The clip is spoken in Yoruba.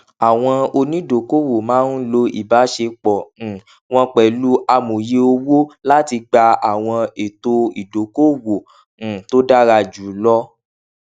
àwọn onídokòòwò máa ń lo ìbáṣepọ um wọn pẹlú amòye owó láti gba àwọn ètò ìdókòòwò um tó dára jù lọ